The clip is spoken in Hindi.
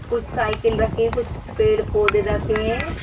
कुछ साइकिल रखी हैं कुछ पेड़-पौधे रखे हैं।